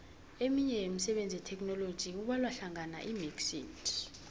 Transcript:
eminye yemisebenzi yetheknoloji kubalwahlangana imxit